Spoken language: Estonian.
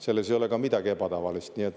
Selles ei ole midagi ebatavalist.